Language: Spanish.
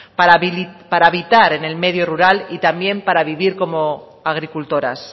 para habitar en el medio rural y también para vivir como agricultoras